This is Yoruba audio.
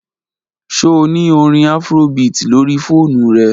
Ṣe o ni orin Afrobeat lori foonu rẹ?